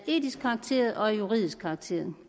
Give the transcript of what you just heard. etisk karakter og af juridisk karakter